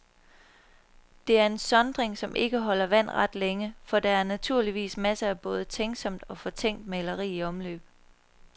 Det er en sondring, som ikke holder vand ret længe, for der er naturligvis masser af både tænksomt og fortænkt maleri i omløb.